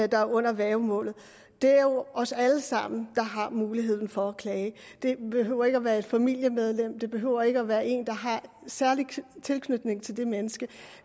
der er under værgemål har det er jo os alle sammen der har mulighed for at klage det behøver ikke at være et familiemedlem det behøver ikke at være en der har særlig tilknytning til det menneske